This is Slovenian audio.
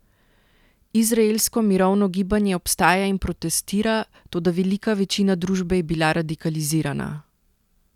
Izraelsko mirovno gibanje obstaja in protestira, toda velika večina družbe je bila radikalizirana.